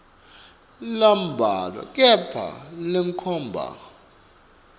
lambalwa kepha lenkhomba